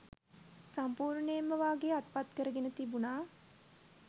සම්පුර්ණයෙන්ම වාගේ අත්පත්කරගෙන තිබුණා